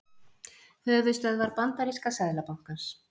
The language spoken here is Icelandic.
Höfuðstöðvar bandaríska seðlabankans.